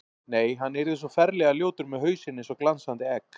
Nei, hann yrði svo ferlega ljótur með hausinn eins og glansandi egg.